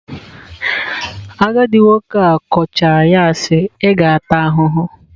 Agadị nwoke a kọchaa ya sị" ị ga-ata ahụhụ ."